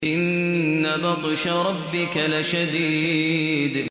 إِنَّ بَطْشَ رَبِّكَ لَشَدِيدٌ